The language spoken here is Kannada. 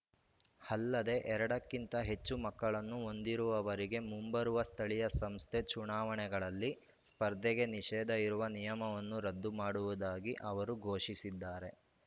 ಅಲ್ಲದೆ ಎರಡ ಕ್ಕಿಂತ ಹೆಚ್ಚು ಮಕ್ಕಳನ್ನು ಹೊಂದಿರುವವರಗೆ ಮುಂಬರುವ ಸ್ಥಳೀಯ ಸಂಸ್ಥೆ ಚುನಾವಣೆಗಳಲ್ಲಿ ಸ್ಪರ್ಧೆಗೆ ನಿಷೇಧ ಇರುವ ನಿಯಮವನ್ನು ರದ್ದು ಮಾಡುವುದಾಗಿ ಅವರು ಘೋಷಿಸಿದ್ದಾರೆ